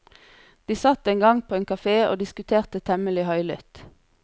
De satt en gang på en kafé og diskuterte temmelig høylytt.